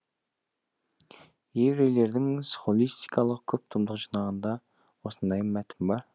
еврейлердің схоластикалық көп томдық жинағында осындай мәтін бар